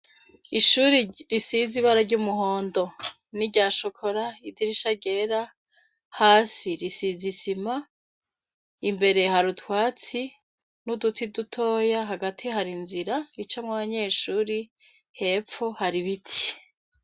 Ishure risize ibara ryumuhondo nirya chocolat idirisha ryera hasi isima imbere hari utwatsi nuduti dutoya hagati hari inzira icamwo abanyeshure hefu hari ibiti